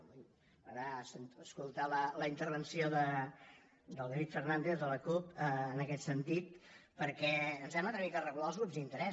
m’agradarà escoltar la intervenció del david fernàndez de la cup en aquest sentit perquè ens hem atrevit a regular els grups d’interès